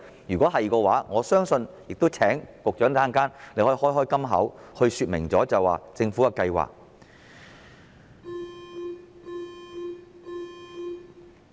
如是者，我亦請局長在稍後可以"開金口"，說明政府的計劃。